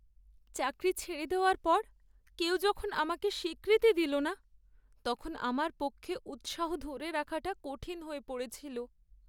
চাকরি ছেড়ে দেওয়ার পর কেউ যখন আমাকে স্বীকৃতি দিল না, তখন আমার পক্ষে উৎসাহ ধরে রাখাটা কঠিন হয়ে পড়েছিল।